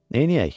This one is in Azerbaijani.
"Neynəyək?"